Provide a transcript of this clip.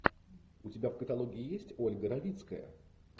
у тебя в каталоге есть ольга равицкая